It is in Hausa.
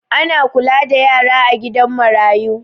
Ana kula da yara a gida marayu